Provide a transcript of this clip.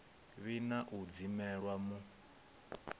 vhi na u dzimelwa mu